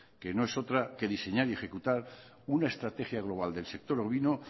que no es otra que diseñar y ejecutar una estrategia global del sector ovino